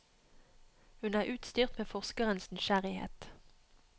Hun er utstyrt med forskerens nysgjerrighet.